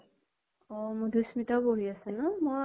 অ মধুস্মিতাও পঢ়ি আছে মই